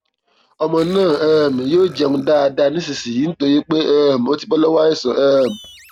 ọmọ náà um yóò jẹun dáadáa dáadáa nísinsinyìí nítorí pé um ó ti bọ lọwọ àìsàn um